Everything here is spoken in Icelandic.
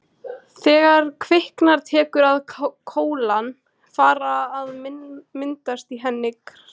Þegar kvikan tekur að kólna fara að myndast í henni kristallar.